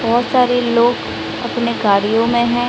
बहुत सारे लोग अपने गाड़ियों में हैं।